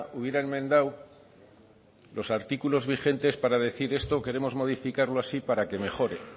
hubiera enmendado los artículos vigentes para decir esto queremos modificarlo así para que mejore